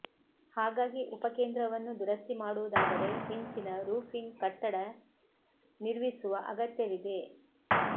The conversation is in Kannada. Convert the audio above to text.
ಹಾಗಾಗಿ ಉಪಕೇಂದ್ರವನ್ನು ದುರಸ್ತಿ ಮಾಡುವುದಾದರೆ ಹೆಂಚಿನ ರೂಫಿಂಗ್ ಕಟ್ಟಡ ನಿರ್ವಿುಸುವ ಅಗತ್ಯವಿದೆ